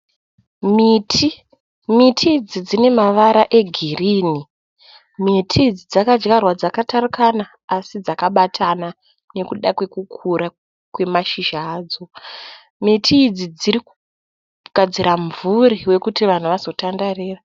Miti, miti idzi dzine mavara egirini. Miti idzi dzakadyarwa dzakatarukana asi dzakabatana nekuda kwekukura kwemashizha adzo. Miti idzi dziri kugadzira mumvuri wekuti vanhu vazotandarira.